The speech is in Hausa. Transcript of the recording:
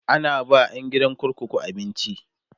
ana ba ƴan gidan kurkuku abinci